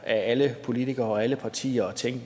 alle politikere og alle partier og tænke